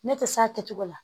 Ne tɛ s'a kɛcogo la